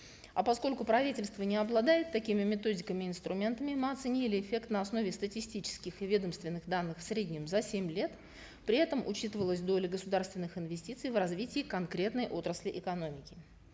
а поскольку правительство не обладает такими методиками инструментами мы оценили эффект на основе статистических и ведомственных данных в среднем за семь лет при этом учитывалась доля государственных инвестиций в развитие конкретной отрасли экономики